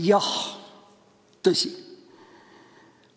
Jah, tõsi!